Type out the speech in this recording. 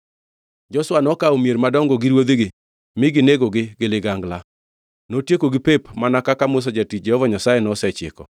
Joshua nokawo mier madongo gi ruodhigi mi ginegogi gi ligangla. Notiekogi pep, mana kaka Musa jatich Jehova Nyasaye nosechiko.